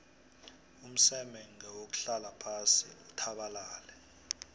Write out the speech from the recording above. umseme ngewuhlala phasi uthabalale